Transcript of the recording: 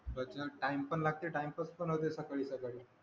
मधनं टाइम पण लागते टाईमपास पण होते सकाळी सकाळी